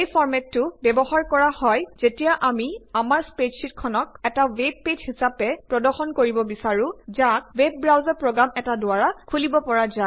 এই ফৰ্মেটতো ব্যৱহাৰ কৰা হয় যেতিয়া আমি আমাৰ স্প্ৰেডশ্বিটখনক এটা ৱেব পেইজ হিচাপে প্ৰদৰ্শন কৰিব বিছাৰোঁ যাক ৱেব ব্ৰাউচাৰ প্ৰগ্ৰাম এটা দ্বাৰা খুলিব পৰা যায়